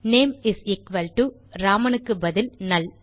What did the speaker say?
name is equal to Ramanக்கு பதில் நல்